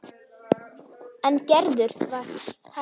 En Gerður var hæg.